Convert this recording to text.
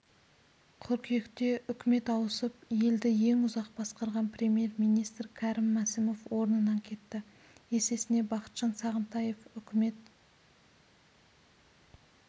қыркүйекте үкімет ауысып елді ең ұзақ басқарған премьер-министр кәрім мәсімов орнынан кетті есесіне бақытжан сағынтаев үкімет